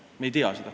Me ei tea seda.